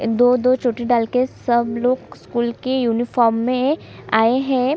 दो - दो चोटी डाल के सब लोग स्कूल की यूनिफॉर्म में आए हैं।